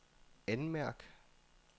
anmærk